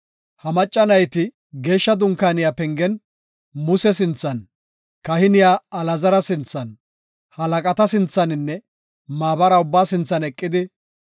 Ha macca nayti geeshsha dunkaaniya pengen Muse sinthan, kahiniya Alaazara sinthan, halaqata sinthaninne maabara ubbaa sinthan eqidi,